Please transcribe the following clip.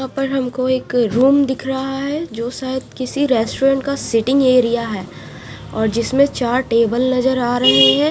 यहा पर हमको एक रूम दिख रहा है जो सायद किसी रेस्टोरेंट का सिटींग एरिया है और जिसमे चार टेबल नजर आ रहे है।